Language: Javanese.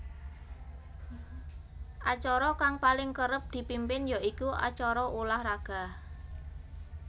Acara kang paling kerep dipimpin ya iku acara ulah raga